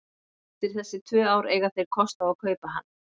Eftir þessi tvö ár eiga þeir kost á að kaupa hann.